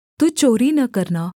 तू चोरी न करना